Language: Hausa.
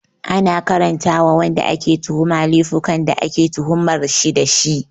Ana karanta ma wanda ake tuhuma laifukan da ake tuhumar shi dashi